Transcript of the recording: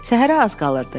Səhərə az qalırdı.